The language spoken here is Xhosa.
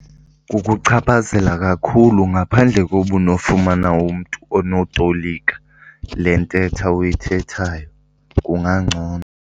Kukuchaphazela kakhulu, ngaphandle koba unofumana umntu onotolika le ntetha uyithethayo kungangcono.